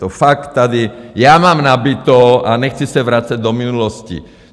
To fakt tady já mám nabito a nechci se vracet do minulosti.